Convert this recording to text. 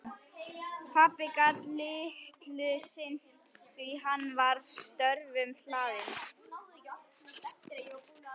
Pabbi gat litlu sinnt því að hann var störfum hlaðinn.